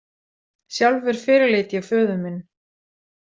Sjálfur fyrirleit ég föður minn.